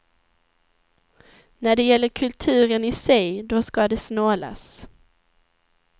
När det gäller kulturen i sig, då ska det snålas.